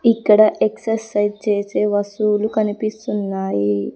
ఇక్కడ ఎక్సర్సైజ్ చేసే వస్తువులు కనిపిస్తున్నాయి.